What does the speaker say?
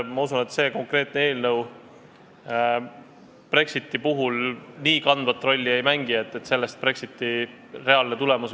Ma usun, et see konkreetne eelnõu ei mängi nii kandvat rolli, et sellest sõltuks Brexiti reaalne tulemus.